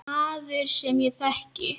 Maður, sem ég þekki.